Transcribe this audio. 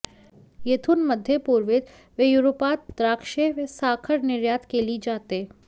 येथून मध्यपूर्वेत व युरोपात द्राक्षे व साखर निर्यात केली जाते